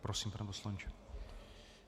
Prosím, pane poslanče.